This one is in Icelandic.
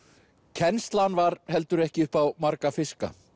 kennslan var heldur ekki upp á marga fiska